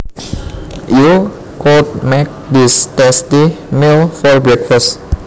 You could make this tasty meal for breakfast